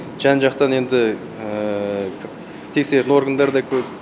жан жақтан енді тексеретін органдар да көп